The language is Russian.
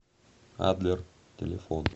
адлер телефон